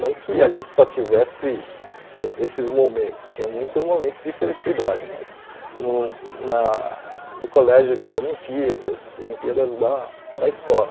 Não que a gente só tivesse esses momentos, tinha muitos momentos de felicidade, mas no na no colégio tinha Olimpíadas, Olimpíadas da da escola.